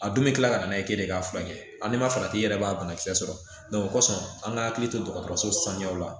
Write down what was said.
A dun bɛ kila ka na n'a ye k'e de b'a furakɛ hali n'i ma farati i yɛrɛ b'a banakisɛ sɔrɔ osɔn an ka hakili to dɔgɔtɔrɔso sanuyaw la